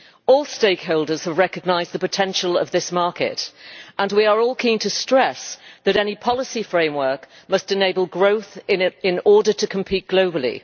All the stakeholders have recognised the potential of this market and we are all keen to stress that any policy framework must enable growth in it in order to compete globally.